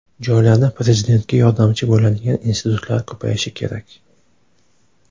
Joylarda Prezidentga yordamchi bo‘ladigan institutlar ko‘payishi kerak.